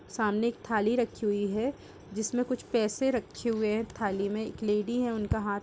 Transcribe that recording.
सामने एक थाली रखी हुई है जिसमें कुछ पैसे रखें हुए हैं थाली में। एक लेडी है उनका हाथ --